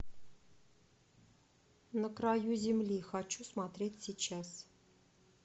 на краю земли хочу смотреть сейчас